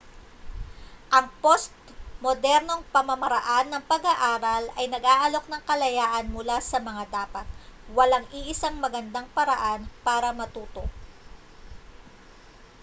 ang postmodernong pamamaraan ng pag-aaral ay nag-aalok ng kalayaan mula sa mga dapat walang iisang magandang paraan para matuto